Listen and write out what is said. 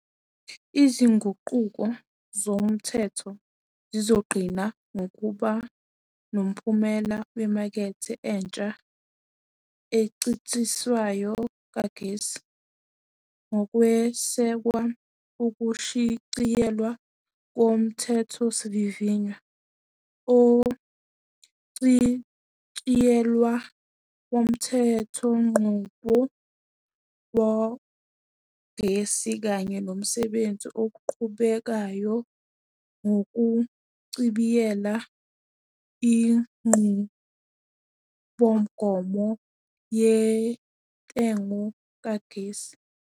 Izinguquko zomthetho zizogcina ngokuba nomphumela wemakethe entsha encintisayo kagesi, ngokwesekwa ukushicilelwa koMthethosivivinywa Ochitshiyelwe Womthe thonqubo Wogesi kanye nomsebenzi oqhubekayo wokuchibiyela iNqubomgomo Yentengo Kagesi.